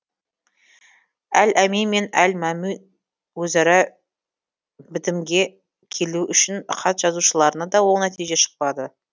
әл әмин мен әл мәмун өзара бітімге келу үшін хат жазушыларынан да оң нәтиже шықпады